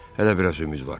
Hələ biraz ümid var.